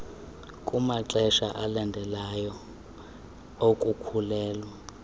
kumaxesha alandelayo okukhulelwa